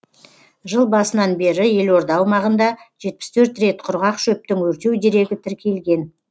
жыл басынан бері елорда аумағында жетпіс төрт рет құрғақ шөптің өртеу дерегі тіркелген